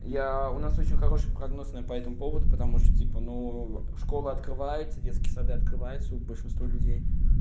я у нас очень хороший прогнозные по этому поводу потому что типа ну школы открываются детские сады открываются у большинство людей